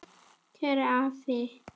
Kæri afi.